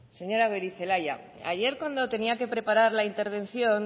señora goirizelaia ayer cuando tenía que presentar la intervención